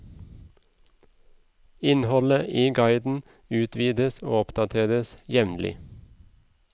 Innholdet i guiden utvides og oppdateres jevnlig.